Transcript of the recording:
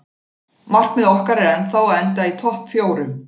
Markmið okkar er ennþá að enda í topp fjórum.